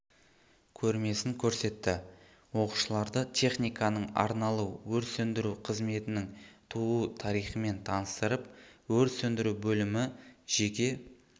көрмесін көрсетті оқушыларды техниканың арналу өрт сөндіру қызметінің туу тарихымен таныстырып өрт сөндіру бөлімі жеке